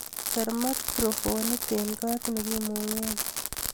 Ker microfonit eng kot nekimungen